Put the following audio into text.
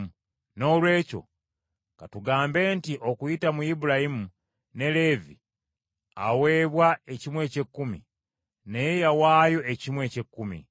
Noolwekyo ka tugambe nti okuyita mu Ibulayimu, ne Leevi aweebwa ekimu eky’ekkumi, naye yawaayo ekimu eky’ekkumi.